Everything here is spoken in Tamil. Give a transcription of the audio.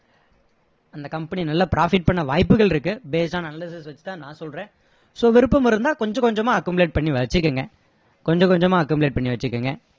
அந்த company நல்ல profit பண்ண வாய்ப்புகள் இருக்கு based on analysis வச்சு தான் நான் சொல்றேன் so விருப்பம் இருந்தா கொஞ்ச கொஞ்சமா accumulate பண்ணி வச்சிகோங்க கொஞ்ச கொஞ்சமா accumulate பண்ணி வச்சிகோங்க